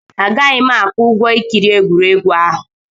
Agaghị m akwụ ụgwọ ikiri egwuregwu ahụ.